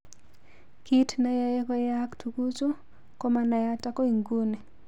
Kit neyoe koyaak tuguchu komanayat agoi nguni.